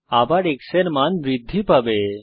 আবার x এর মান বৃদ্ধি পাবে